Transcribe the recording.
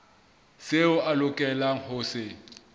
seo a lokelang ho se